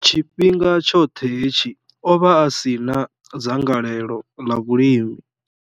Tshifhinga tshoṱhe hetshi, o vha a si na dzangalelo ḽa vhulimi.